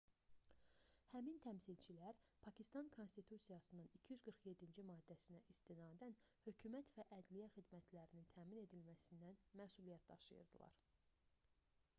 həmin təmsilçilər pakistan konstitusiyasının 247-ci maddəsinə istinadən hökumət və ədliyyə xidmətlərinin təmin edilməsindən məsuliyyət daşıyırdılar